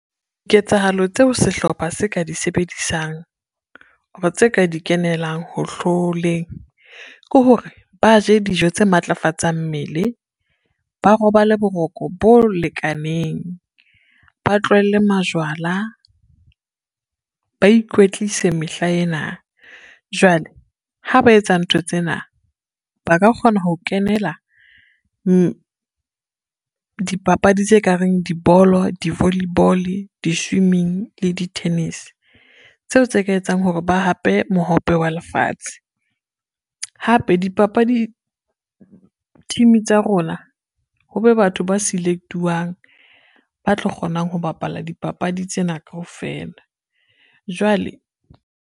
Ketsahalo tseo sehlopha se ka di sebedisang or tse ka di kenelang ho hloleng, ke hore ba je dijo tse matlafatsang mmele, ba robale boroko bo lekaneng, ba tlohelle majwala, ba ikwetlise mehlaena. Jwale ha ba etsa ntho tsena ba ka kgona ho kenela dipapadi tse kareng dibolo, di-volley ball, di-swimming le di-tennis, tseo tse ka etsang hore ba hape Mohope wa Lefatshe. Hape team tsa rona ho be batho ba select-uwang, ba tlo kgonang ho bapala dipapadi tsena kaofela, jwale.